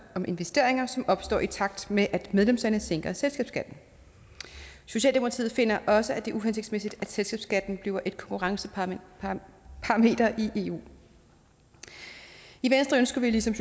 om investeringer som opstår i takt med at medlemslande sænker selskabsskatten socialdemokratiet finder også at det er uhensigtsmæssigt at selskabsskatten bliver et konkurrenceparameter i eu i venstre ønsker vi ligesom